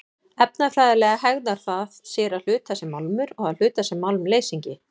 Efnafræðilega hegðar það sér að hluta sem málmur og að hluta sem málmleysingi.